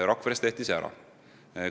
Rakveres tehti see ära.